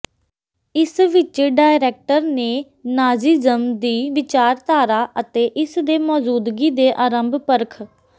ਇਸ ਵਿੱਚ ਡਾਇਰੈਕਟਰ ਨੇ ਨਾਜ਼ੀਜ਼ਮ ਦੀ ਵਿਚਾਰਧਾਰਾ ਅਤੇ ਇਸ ਦੇ ਮੌਜੂਦਗੀ ਦੇ ਆਰੰਭ ਪਰਖ